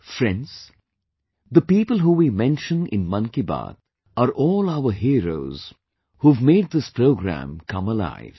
Friends, the people who we mention in 'Mann Ki Baat' are all our Heroes who have made this program come alive